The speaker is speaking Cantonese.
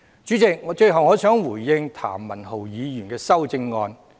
主席，最後我想回應譚文豪議員的修正案。